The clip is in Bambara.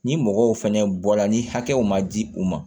Ni mɔgɔw fɛnɛ bɔla ni hakɛw ma di u ma